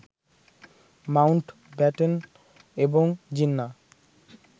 Mount Batten এবং জিন্না